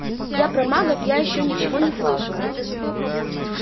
я про магов я что-то ничего не слышал